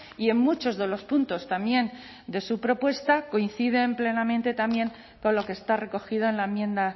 y en muchos de los puntos también de su propuesta coinciden plenamente también con lo que está recogido en la enmienda